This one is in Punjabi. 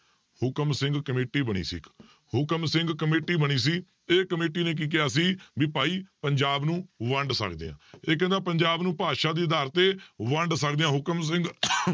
ਹੁਕਮ ਸਿੰਘ ਕਮੇਟੀ ਬਣੀ ਸੀ ਇੱਕ ਹੁਕਮ ਸਿੰਘ ਕਮੇਟੀ ਬਣੀ ਸੀ ਇਹ ਕਮੇਟੀ ਨੇ ਕੀ ਕਿਹਾ ਸੀ ਵੀ ਭਾਈ ਪੰਜਾਬ ਨੂੰ ਵੰਡ ਸਕਦੇ ਹਾਂ, ਇਹ ਕਹਿੰਦਾ ਪੰਜਾਬ ਨੂੰ ਭਾਸ਼ਾ ਦੇ ਆਧਾਰ ਤੇ ਵੰਡ ਸਕਦੇ ਹਾਂ ਹੁਕਮ ਸਿੰਘ